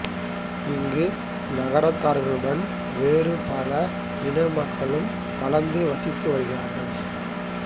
இங்கு நகரத்தார்களுடன் வேறு பல இன மக்களும் கலந்து வசித்து வருகிறார்கள்